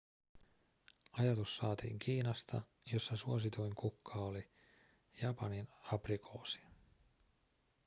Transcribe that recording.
ajatus saatiin kiinasta jossa suosituin kukka oli japaninaprikoosi